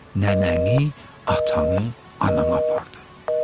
Nənəni, atanı, ananı apardı.